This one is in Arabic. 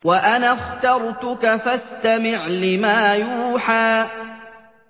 وَأَنَا اخْتَرْتُكَ فَاسْتَمِعْ لِمَا يُوحَىٰ